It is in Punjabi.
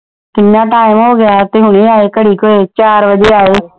ਕਿੰਨਾ ਟਾਇਮ ਹੋਗਿਆ ਤੇ ਹੁਣੇ ਆਏ ਘੜੀ ਕ ਹੋਏ ਚਾਰ ਵਜੇ ਆਏ